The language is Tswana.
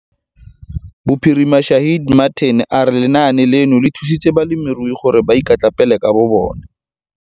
Bophirima Shaheed Martin a re lenaane leno le thusitse balemirui gore ba ikatlapele ka bobona.